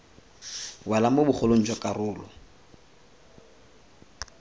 wela mo bogolong jwa karolo